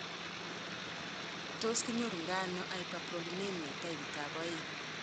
Tos kinyoitoono hyperprolinema taipit ab oeng'?